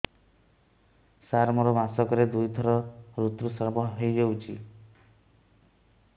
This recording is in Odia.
ସାର ମୋର ମାସକରେ ଦୁଇଥର ଋତୁସ୍ରାବ ହୋଇଯାଉଛି